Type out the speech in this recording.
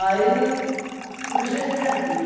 comecei a criar filhos.